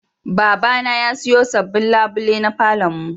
Babana ya siyo sabbin labule na falon mu.